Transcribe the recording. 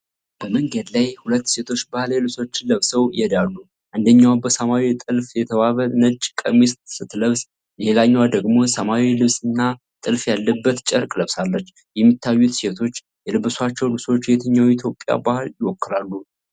በመንገድ ላይ ሁለት ሴቶች ባህላዊ ልብሶችን ለብሰው ይሄዳሉ ። አንደኛዋ በሰማያዊ ጥልፍ የተዋበ ነጭ ቀሚስ ስትለብስ፣ ሌላኛዋ ደግሞ ሰማያዊ ልብስና ጥልፍ ያለበት ጨርቅ ለብሳለች፡፡ የሚታዩት ሴቶች የለበሷቸው ልብሶች የትኛው የኢትዮጵያ ባህል ይወክላሉ?